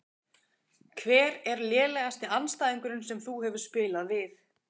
Hver er lélegasti andstæðingurinn sem þú hefur spilað við?